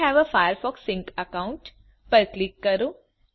I હવે એ Firefox sync account પર ક્લિક કરો